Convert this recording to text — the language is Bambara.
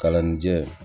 Kalannijɛ